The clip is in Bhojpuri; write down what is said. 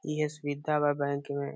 ई है सुविधा है बैंक में।